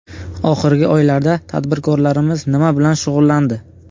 Oxirgi oylarda tadbirkorlarimiz nima bilan shug‘ullandi?